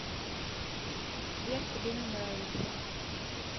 сбер тебе не нравится